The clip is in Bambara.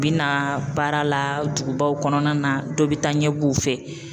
U bina baara la dugubaw kɔnɔna na dɔ bɛ taa ɲɛbɔ u fɛ.